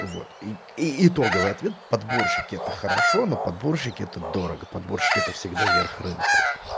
вот и итоговый ответ подборщики это хорошо но подборщики это дорого подборщики это всегда верх рынок